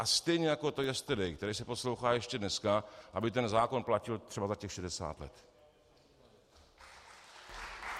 A stejně jako to Yesterday, které se poslouchá ještě dneska, aby ten zákon platil třeba za těch 60 let.